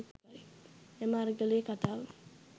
එම අරගලයේ කතාව